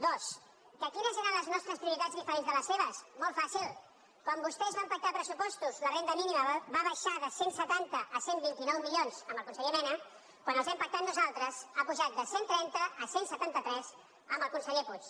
dues que quines eren les nostres prioritats diferents de les seves molt fàcil quan vostès van pactar pressupostos la renda mínima va baixar de cent i setanta a cent i vint nou milions amb el conseller mena quan els hem pactat nosaltres ha pujat de cent i trenta a cent i setanta tres amb el conseller puig